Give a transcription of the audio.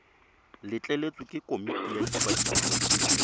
letleletswe ke komiti ya ikwadiso